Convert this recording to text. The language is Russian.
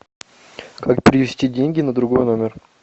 как перевести деньги на другой номер